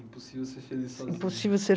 Impossível ser feliz sozinha. Impossível ser